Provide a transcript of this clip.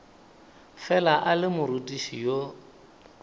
fela a le morutiši yo